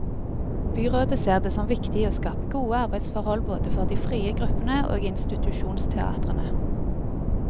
Byrådet ser det som viktig å skape gode arbeidsforhold både for de frie gruppene og institusjonsteatrene.